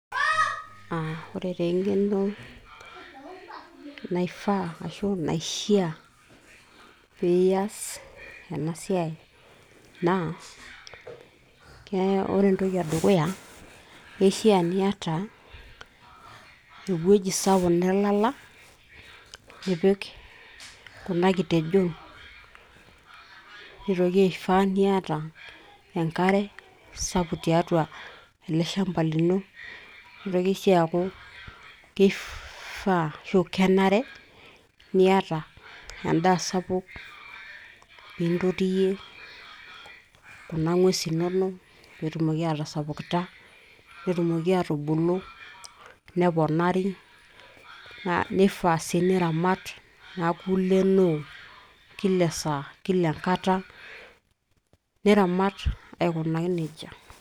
aa ore taa eng'eno naifaa ashu naishia piiyas ena siai naa kee ore entoki edukuya naa kishia niata ewueji sapuk nelala nipik kuna kitejon nitoki aifaa niata enkare sapuk tiatu ele shamba lino nitoki sii aaku kifaa ashu kenare niata endaa sapuk piintotiyie kuna ng'uesi inonok peetumoki aatasapukita netumoki aatubulu neponari nifaa sii niramat niaku ilenoo kila[ esaa kila enkata niramat aikunaki nejia.